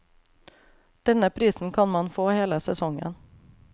Denne prisen kan man få hele sesongen.